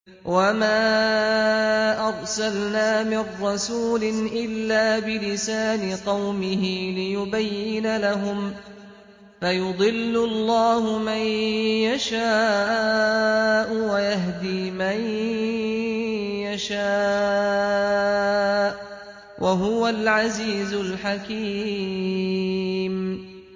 وَمَا أَرْسَلْنَا مِن رَّسُولٍ إِلَّا بِلِسَانِ قَوْمِهِ لِيُبَيِّنَ لَهُمْ ۖ فَيُضِلُّ اللَّهُ مَن يَشَاءُ وَيَهْدِي مَن يَشَاءُ ۚ وَهُوَ الْعَزِيزُ الْحَكِيمُ